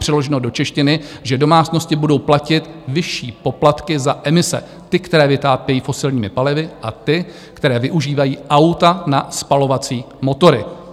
Přeloženo do češtiny, že domácnosti budou platit vyšší poplatky za emise, ty, které vytápějí fosilními palivy, a ty, které využívají auta na spalovací motory.